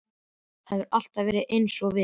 Það hefur allt eins og við.